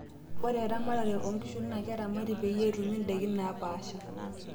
Ore eramatare oonkishu naa keramati peyie etumi ndaikin naapasha.